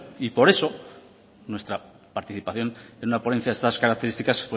y por eso nuestra participación en una ponencia de estas características